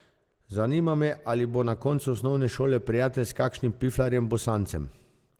Zanima me, ali bo na koncu osnovne šole prijatelj s kakšnim piflarjem bosancem.